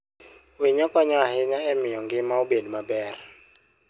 Winyo konyo ahinya e miyo ngima obed maber.